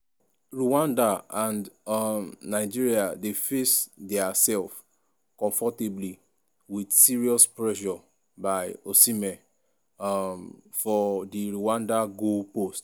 rwanda and um nigeria dey face diasef comfortably wit serious pressure by osihmen um for di rwanda goalpost.